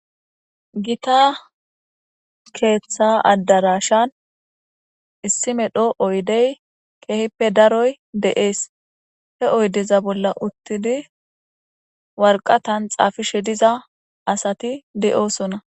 gita keeththa addarashan issi medho oydey keehippe daroy de7ees he oydeza bolla uttidi warqatan xaafishe diza asati de7oosona